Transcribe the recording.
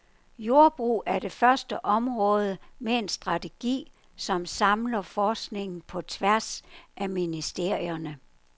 Jordbrug er det første område med en strategi, som samler forskningen på tværs af ministerierne.